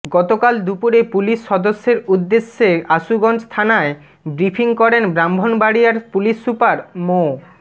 গতকাল দুপুরে পুলিশ সদস্যের উদ্দেশে আশুগঞ্জ থানায় বিফ্রিং করেন ব্রাহ্মণবাড়িয়ার পুলিশ সুপার মো